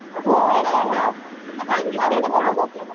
हो पण